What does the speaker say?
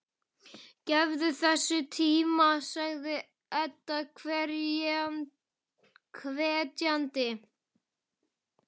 Gefðu þessu tíma, sagði Edda hvetjandi.